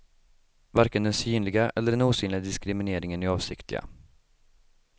Varken den synliga eller den osynliga diskrimineringen är avsiktliga.